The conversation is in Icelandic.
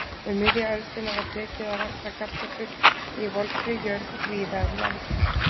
Um miðja öldina var tekið að rækta kartöflur í volgri jörð víða um land.